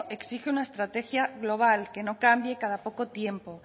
exige una estrategia global que no cambie cada poco tiempo